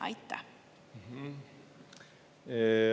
Aitäh!